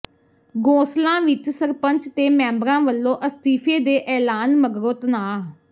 ਗੋਸਲਾਂ ਵਿੱਚ ਸਰਪੰਚ ਤੇ ਮੈਂਬਰਾਂ ਵੱਲੋਂ ਅਸਤੀਫੇ ਦੇ ਐਲਾਨ ਮਗਰੋਂ ਤਣਾਅ